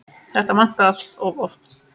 Þetta vantar allt of oft.